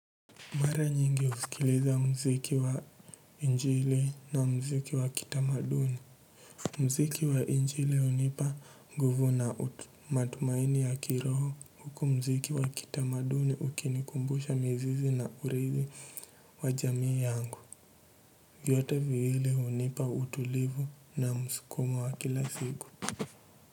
Mara nyingi husikiliza mziki wa njili na mziki wa kitamaduni mziki wa injili hunipa ngugu na matumaini ya kiroho huku mziki wa kitamaduni ukinikumbusha mizizi na irithi wa jamii yangu. Vyote viwili hunipa utulivu na mskumo wa kila siku.